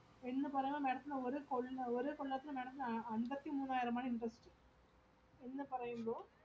എന്ന് പറയുമ്പോ madam ത്തിന് ഒരു കൊള്ള ~ ഓരോ കൊല്ലത്തിലും madam ത്തിന് അമ്പതിമൂന്നായിരം ആണ് interest